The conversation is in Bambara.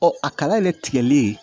Ɔ a kala de tigɛli